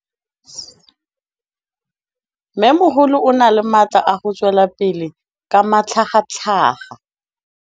Mmêmogolo o na le matla a go tswelela pele ka matlhagatlhaga.